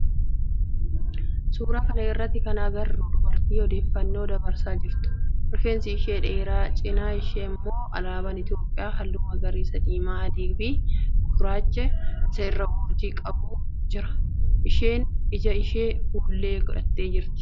Suuraa kana irratti kan agarru dubartii odeffannoo dabarsaa jirtudha. Rifeensi ishee dheeraa, cinaa ishee immoo alaaban itiyoophiyaa halluu magariisa, diimaa, adii fi gidduu isaa irraa urjii qabu jira. Isheen ija isheef fuullee godhattee jirti